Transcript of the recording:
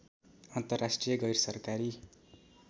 अन्तर्राष्टिय गैर सरकारी